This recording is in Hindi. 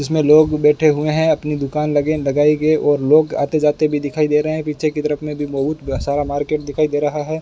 इसमें लोग बैठे हुए हैं अपनी दुकान लगे लगाए गए और लोग आते जाते भी दिखाई दे रहे हैं पीछे की तरफ में भी बहुत सारा मार्केट दिखाई दे रहा है।